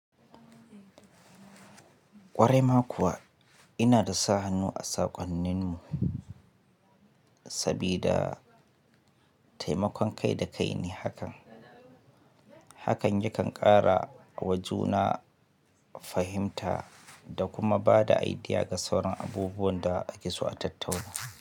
Ƙwarai ma kuwa inada sa hannu a saƙonnin mu sabida temakon kai da kai ne hakan. Hakan yakan ƙara wajuna fahimta da kuma bada aidiya ga sauran abubuwan da ake so a tattauna.